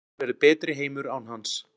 Heimurinn verður betri heimur án hans